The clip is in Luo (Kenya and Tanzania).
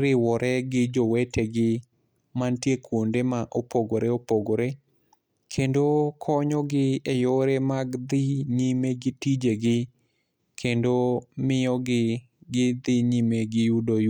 riwore gi jowete gi mantie kuonde ma opogore opogore. Kendo konyo gi e yore mag dhi nyime gi tije gi. Kendo miyo gi gidhi nyime gi yudo